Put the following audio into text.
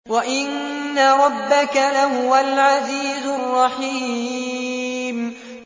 وَإِنَّ رَبَّكَ لَهُوَ الْعَزِيزُ الرَّحِيمُ